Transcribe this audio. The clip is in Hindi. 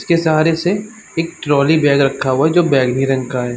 इसके सहारे से एक ट्रोली बैग रखा हुआ है जो बैंगनी रंग का है।